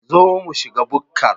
Zo mu shiga bukkar